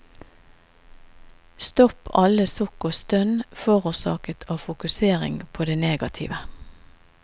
Stopp alle sukk og stønn forårsaket av fokusering på det negative.